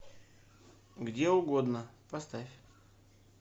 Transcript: где угодно поставь